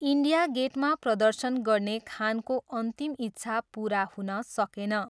India गेटमा प्रदर्शन गर्ने खानको अन्तिम इच्छा पुरा हुन सकेन।